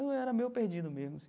Eu era meio perdido mesmo assim.